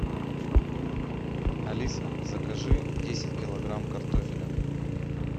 алиса закажи десять килограмм картофеля